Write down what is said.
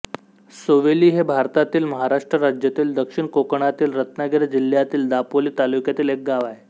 सोवेली हे भारतातील महाराष्ट्र राज्यातील दक्षिण कोकणातील रत्नागिरी जिल्ह्यातील दापोली तालुक्यातील एक गाव आहे